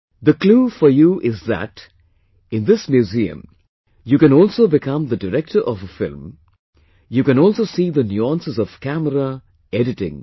The clue for you is that in this museum you can also become the director of a film, you can also see the nuances of camera, editing